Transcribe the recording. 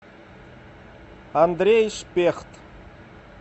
андрей шпехт